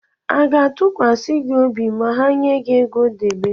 A ga-ntụkwasị gi obi ma ha nye gị ego debe?